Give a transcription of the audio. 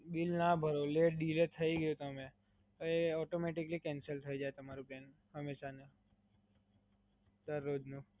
Bill ના ભરો, late, delay થય ગયું તમારે, તો એ ઓટોમટીકલી કેન્સલ થય જાય તમારો પ્લાન, હમેશા, દરરોજ નું.